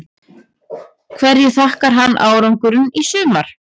Hverju þakkar hann árangurinn í sumar?